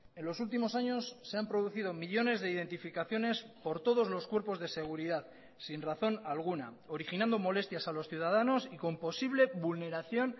en los últimos años se han producido millónes de identificaciones por todos los cuerpos de seguridad sin razón alguna originando molestias a los ciudadanos y con posible vulneración